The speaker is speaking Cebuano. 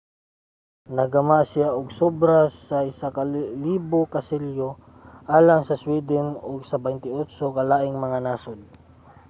nakagama siya og sobra sa 1,000 ka selyo alang sa sweden ug sa 28 ka laing mga nasod